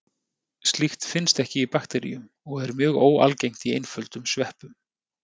Slíkt finnst ekki í bakteríum og er mjög óalgengt í einföldum sveppum.